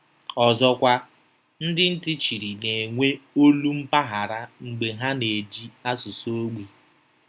Ọzọkwa, ndị ntị chiri na-enwe olu mpaghara mgbe ha na-eji asụsụ ogbi.